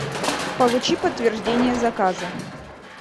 получи подтверждение заказа